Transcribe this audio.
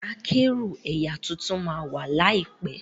Kẹ̀kẹ́ akẹ́rù ẹyà títún má wá laipẹ